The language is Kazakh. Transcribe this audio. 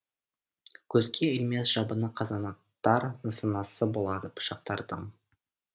көзге ілмес жабыны қазанаттар нысанасы болады пышақтардың